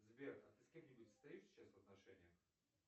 сбер а ты с кем нибудь состоишь сейчас в отношениях